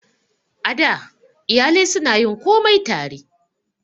A da, iyalai su na yin komai tare